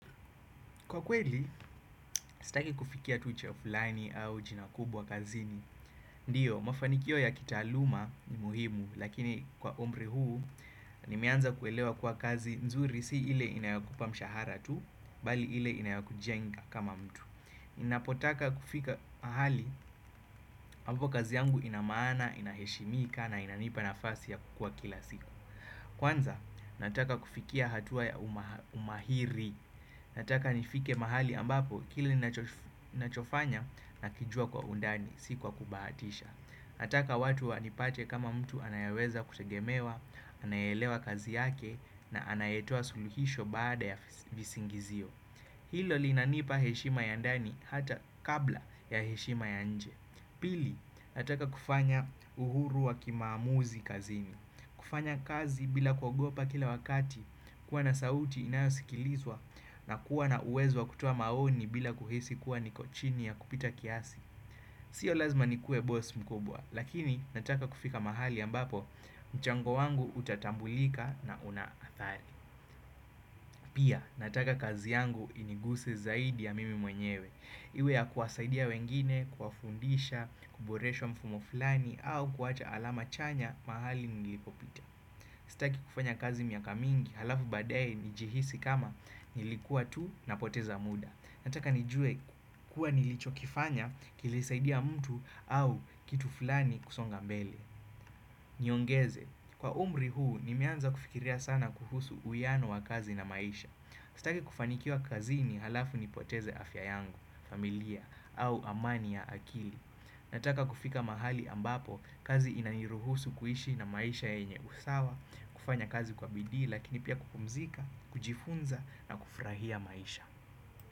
Kwa kweli, sitaki kufikia tu cheo fulani au jina kubwa kazini. Ndio, mafanikio ya kitaaluma ni muhimu, lakini kwa umri huu, nimeanza kuelewa kuwa kazi nzuri si ile inayokupa mshahara tu, bali ile inayokujenga kama mtu. Napotaka kufika mahali, hapo kazi yangu inamaana, inaheshimika na inanipa nafasi ya kukua kila siku. Kwanza, nataka kufikia hatua ya umahiri. Nataka nifike mahali ambapo kila nachofanya nakijua kwa undani, si kwa kubahatisha Nataka watu wanipate kama mtu anayeweza kutegemewa, anayeelewa kazi yake na anayetoa suluhisho baada ya visingizio. Hilo linanipa heshima ya ndani hata kabla ya heshima ya nje. Pili nataka kufanya uhuru wa kimaamuzi kazini, kufanya kazi bila kuogopa kila wakati, kuwa na sauti inayosikilizwa na kuwa na uwezo wa kutoa maoni bila kuhisi kuwa niko chini ya kupita kiasi Sio lazima nikuwe boss mkubwa, lakini nataka kufika mahali ambapo mchango wangu utatambulika na una athari Pia, nataka kazi yangu iniguse zaidi ya mimi mwenyewe. Iwe ya kuwasaidia wengine, kuwafundisha, kuboresha mfumo fulani au kuacha alama chanya mahali nilipopita. Sitaki kufanya kazi miaka mingi halafu baadaye nijihisi kama nilikuwa tu napoteza muda. Nataka nijuwe kuwa nilichokifanya kilisaidia mtu au kitu fulani kusonga mbele. Niongeze, kwa umri huu nimeanza kufikiria sana kuhusu uiyano wa kazi na maisha Sitaki kufanikiwa kazini halafu nipoteze afya yangu, familia au amani ya akili. Nataka kufika mahali ambapo kazi inaniruhusu kuishi na maisha yenye usawa, kufanya kazi kwa bidii lakini pia kupumzika, kujifunza na kufurahia maisha.